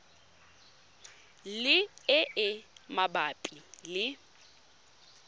le e e mabapi le